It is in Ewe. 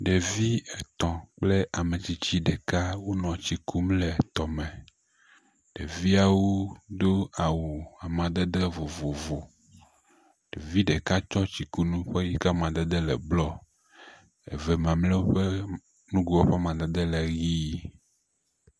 Ɖevi etɔ̃ kple ametsitsi ɖeka wonɔ tsi kum le tɔme, ɖeviawo do awu amadede vovovo, ɖevi ɖeka tsɔ tsikunu si ƒe amadede ƒe yi ke le blɔ eve mamleawo tsɔ eyi ƒe amadede le ʋi.